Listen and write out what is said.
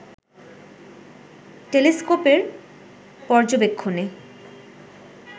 টেলিস্কোপের পর্যবেক্ষণে